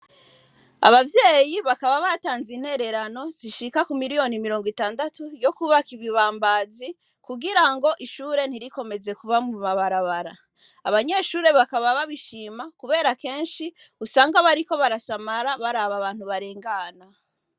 Abavyeyi bakaba batanze intererano zishika ku miliyoni mirongo itandatu, yo kwubaka ibibambazi, kugira ngo ishure ntirikomeze kuba mu mabarabara. Abanyeshure bakaba babishima kubera kenshi, usanga bariko barasamara baraba abantu barengana.